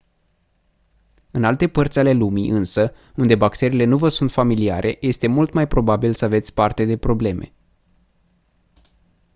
în alte părți ale lumii însă unde bacteriile nu vă sunt familiare este mult mai probabil să aveți parte de probleme